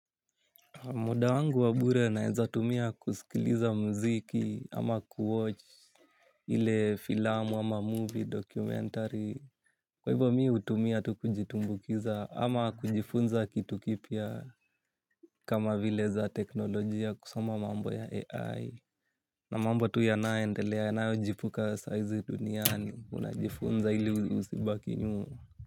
Muda wangu wa bure naweza kutumia kusikiliza muziki au kuangalia filamu, movie au documentary. Kwa hivyo, mimi hutumia muda huo kujitumbuiza ama kujifunza kitu kipya. Kama vile za teknolojia kusoma mambo ya AI. Na mambo tu yanayoendelea, yanayojipuka saizi duniani, unajifunza ili usibaki nyuma.